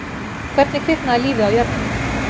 Hvernig kviknaði lífið á jörðinni?